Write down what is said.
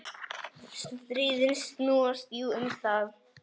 Stríðin snúast jú um það.